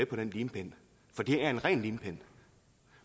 på den limpind for det er en ren limpind